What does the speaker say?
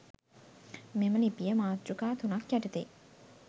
මෙම ලිපිය මාතෘකා තුනක් යටතේ